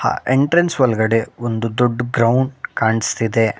ಆ ಎಂಟ್ರೆನ್ಸ್ ಒಳಗಡೆ ಒಂದು ದೊಡ್ ಗ್ರೌಂಡ್ ಕಾಣಿಸ್ತಿದೆ.